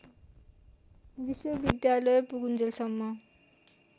विश्वविद्यालय पुगुन्जेलसम्म